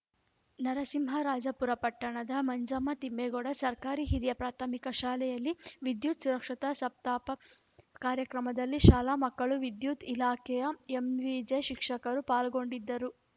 ನರಸಿಂಹರಾಜಪುರ ಪಟ್ಟಣದ ಮಂಜಮ್ಮ ತಿಮ್ಮೇಗೌಡ ಸರ್ಕಾರಿ ಹಿರಿಯ ಪ್ರಾಥಮಿಕ ಶಾಲೆಯಲ್ಲಿ ವಿದ್ಯುತ್‌ ಸುರಕ್ಷತಾ ಸಪ್ತಾಪ ಕಾರ್ಯಕ್ರಮದಲ್ಲಿ ಶಾಲಾ ಮಕ್ಕಳು ವಿದ್ಯುತ್‌ ಇಲಾಖೆಯ ಎಂವಿಜೆ ಶಿಕ್ಷಕರು ಪಾಲ್ಗೊಂಡಿದ್ದರು